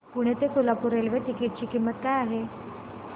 पुणे ते Solapur railway ticket ची किंमत काय आहे